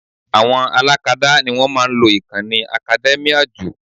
Àwọn alákadá ni wọ́n máa ń lo ìkànnì academia jù